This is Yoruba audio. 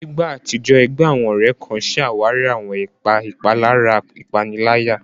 Ní ìgbà àtijọ́, ẹgbẹ́ àwọn ọ̀rẹ́ kan ṣe àwárí àwọn ipa ìpalára ìpaniláyà.